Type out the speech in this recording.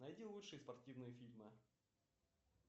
найди лучшие спортивные фильмы